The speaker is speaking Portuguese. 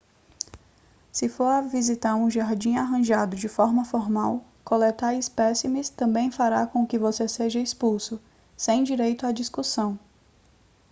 se for visitar um jardim arranjado de forma formal coletar espécimes também fará com que você seja expulso sem direito à discussão